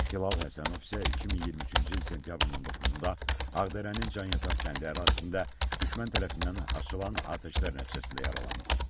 Hilal Həsənov isə 2023-cü il sentyabrın 19-da Ağdərənin Canyataq kəndi ərazisində düşmən tərəfindən açılan atəşlər nəticəsində yaralanıb.